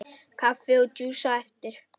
Kaffi og djús á eftir.